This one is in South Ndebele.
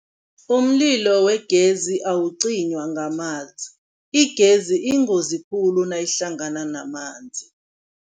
Umlilo wegezi awucinywa ngamanzi, igezi iyingozi khulu nayihlangana namanzi.